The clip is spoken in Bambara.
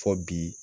Fɔ bi